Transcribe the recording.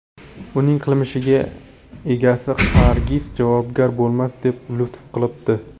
Uning qilmishiga egasi hargiz javobgar bo‘lmas, deb lutf qilibdi.